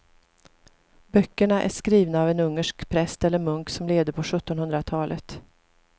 Böckerna är skrivna av en ungersk präst eller munk som levde på sjuttonhundratalet.